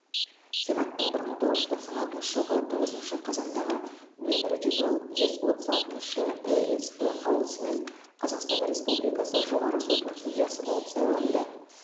сенаттың бір мың тоғыз жүз тоқсан алтыншы жылғы тоғызыншы қазандағы нөмірі жүз ол жүз отыз алтыншы эсп қаулысымен қазақстан республикасы жоғарғы сотының судьясы болып сайланды